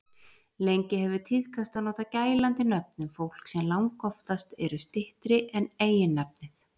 Lengi hefur tíðkast að nota gælandi nöfn um fólk sem langoftast eru styttri en eiginnafnið.